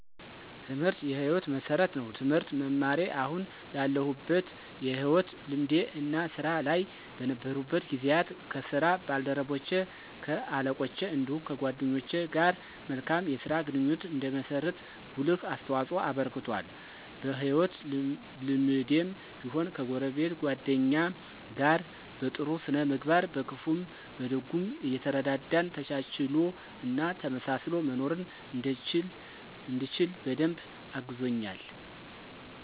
ትምህርት የ ህይወት መሠረት ነው። ትምህርት መማሬ አሁን ላለሁበት የህይወት ልምዴ እና ስራ ላይ በነበርኩበት ጊዜያት ከ ስራ ባልደረቼ ,ከ አለቆቼ እንዲሁም ከደንበኞች ጋር መልካም የስራ ግንኙነት እንድመሰርት ጉልህ አስተዋፅኦ አበርክቷል። በ ህይወት ልምዴም ቢሆን ከጎረቤት ,ጎደኛ ጋር በ ጥሩ ስነ ምግባር በክፉም በደጉም እየተረዳዳን ተቻችሎ እና ተመሳስሎ መኖርን እንድችል በደንብ አግዞኛል።